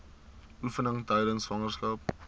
oefeninge tydens swangerskap